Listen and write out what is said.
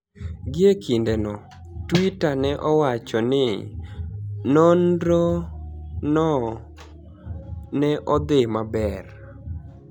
Gie kinideno, Twitter ni e owacho nii nonirono ni e odhi maber.